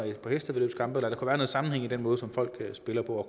et par hestevæddeløb eller der kunne sammenhæng i den måde som folk spiller på og